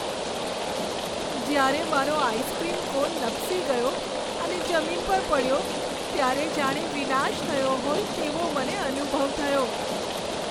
જ્યારે મારો ice cream cone લપસી ગયો અને જમીન પર પડ્યો ત્યારે જાણે વિનાશ થયો હોય તેવો મને અનુભવ થયો.